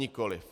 Nikoliv.